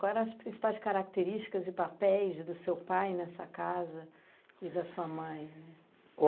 Quais eram as principais características e papéis do seu pai nessa casa e da sua mãe?